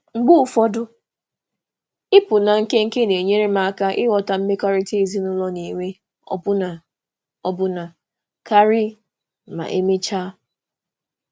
Mgbe ụfọdụ, ịpụ nwa oge na-enyere m aka iji nso ezinụlọ kpọrọ ihe n'ikpeazụ.